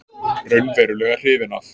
Raunverulega hrifinn af.